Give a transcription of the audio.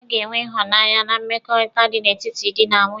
A ga-enwe ịhụnanya na mmekọrịta dị n'etiti dị na nwunye.